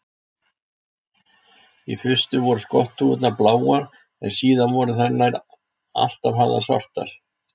Í fyrstu voru skotthúfurnar bláar en síðar voru þær nær alltaf hafðar svartar.